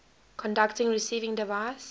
conducting receiving device